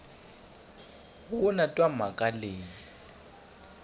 lo na twa mhaka leyi